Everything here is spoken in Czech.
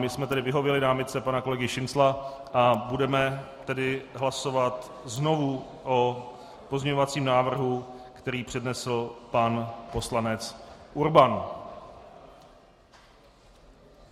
My jsme tedy vyhověli námitce pana kolegy Šincla a budeme tedy hlasovat znovu o pozměňovacím návrhu, který přednesl pan poslanec Urban.